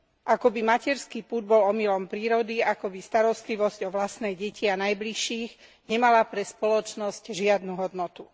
Akoby materský pud bol omylom prírody, akoby starostlivosť o vlastné deti a najbližších nemala pre spoločnosť žiadnu hodnotu.